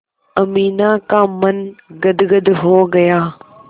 अमीना का मन गदगद हो गया